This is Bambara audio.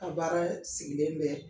A baara sigilen bɛ